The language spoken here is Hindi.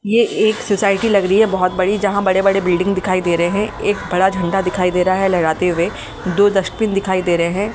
ये एक सोसाइटी लग रही है बहोत बड़ी जहां बड़े बड़े बिल्डिंग दिखाई दे रहे हैं एक बड़ा झंडा दिखाई दे रहा है लहराते हुए दो डस्टबिन दिखाई दे रहे हैं।